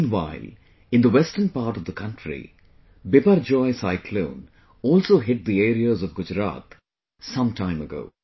Meanwhile, in the western part of the country, Biparjoy cyclone also hit the areas of Gujarat some time ago